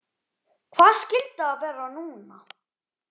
Hvað skyldi það vera núna?